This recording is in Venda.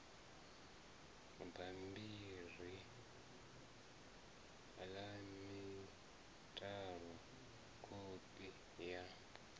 bambiri la mitalo kopi ya